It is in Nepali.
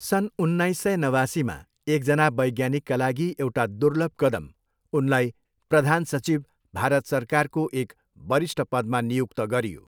सन् उन्नाइस सय नवासीमा, एकजना वैज्ञानिकका लागि एउटा दुर्लभ कदम, उनलाई प्रधान सचिव, भारत सरकारको एक वरिष्ठ पदमा नियुक्त गरियो।